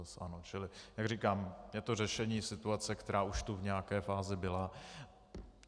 Čili jak říkám, je to řešení situace, která už tu v nějaké fázi byla.